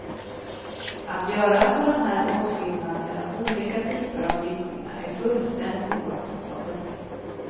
Att göra sådan här åtskillnad mellan olika typer av flyktingar är fullständigt oacceptabelt.